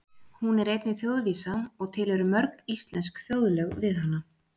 Hún er einnig þjóðvísa og til eru mörg íslensk þjóðlög við hana.